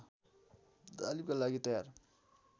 तालिमका लागि तयार